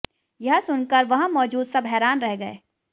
यह सुनकर वहां मौजूद सब हैरान रह गए